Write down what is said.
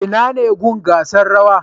Inane gun gasar rawa